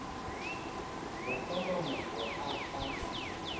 go fa mamapo a a